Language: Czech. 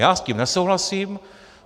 Já s tím nesouhlasím.